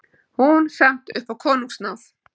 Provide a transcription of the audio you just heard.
Hún samt upp á konungsnáð.